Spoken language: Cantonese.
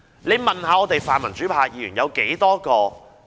他大可問問泛民主派的議員。